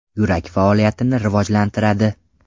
Yurak faoliyatini rivojlantiradi.